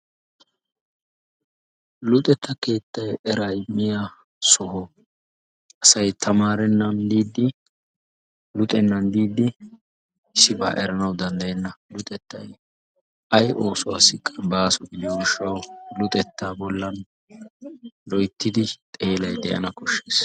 Luxetta keettay eraa immiya soho. Asay tsmaarennan diiddi luxennan diiddi issiba eranawu danddayenna. Luxettay ay oosuwassikka baaso gidiyo gishshawu luxettaa bollan loyittidi xeelay de'ana koshshes.